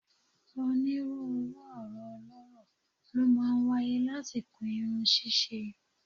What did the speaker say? Onírúurú ọ̀rọ̀ ọlọ́rọ̀ ló máa ń wáyé lásìkò irun ṣíṣe